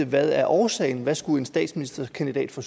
hvad er årsagen hvad skulle en statsministerkandidat fra